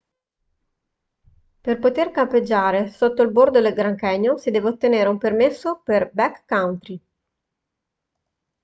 per poter campeggiare sotto il bordo del grand canyon si deve ottenere un permesso per backcountry